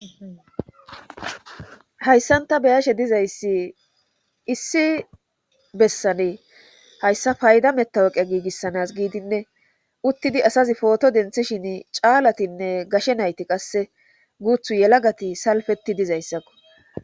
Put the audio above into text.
Hayssanta beyashe dizayssi issi bessane hayssa payda metawoqe giigissanas giidinne uttidi asazi pooto denthishin caalatinne gashe nayti qasse guuthu yelagati salfeti dizayssakko.